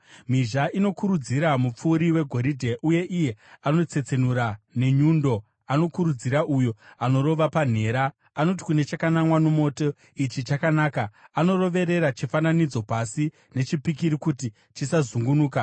Mhizha inokurudzira mupfuri wegoridhe, uye iye anotsetsenura nenyundo anokurudzira uyo anorova panhera. Anoti kune chakanamwa nomoto, “Ichi chakanaka.” Anoroverera chifananidzo pasi nechipikiri kuti chisazungunuka.